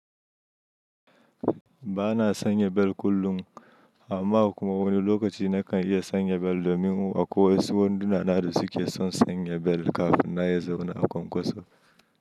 Ba na sanya bel kullum, amma a wani lokaci na kan iya sanya bel domin akwai wasu wanduna na da su ke son sanya bel kafin ma ya zauna a kwankwaso.